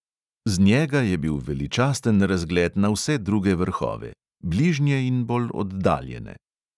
Z njega je bil veličasten razgled na vse druge vrhove, bližnje in bolj oddaljene.